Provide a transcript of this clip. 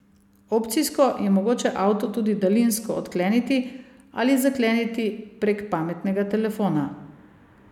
Opcijsko je mogoče avto tudi daljinsko odkleniti ali zakleniti prek pametnega telefona.